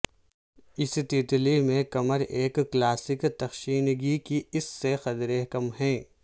اس تیتلی میں کمر ایک کلاسک تخشنگی کی اس سے قدرے کم ہے